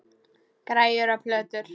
Græjur og plötur.